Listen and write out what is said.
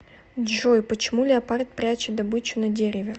джой почему леопард прячет добычу на дереве